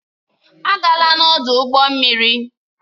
Agala n'ọdụ ụgbọ mmiri